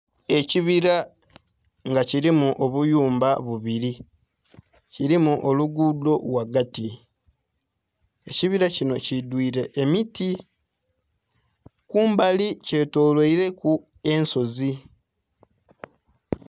Ekibila nga kilimu obuyumba bubiri kilimu olugudho ghagati ekibila kinho kidhuire emiti kumbali kye tolweireku ensozi.